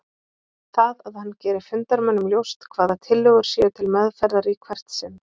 það að hann geri fundarmönnum ljóst hvaða tillögur séu til meðferðar í hvert sinn.